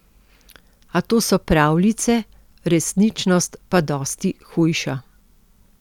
A to so pravljice, resničnost pa dosti hujša.